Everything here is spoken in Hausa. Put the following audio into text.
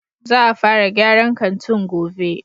Za a fara gyaran kantin gove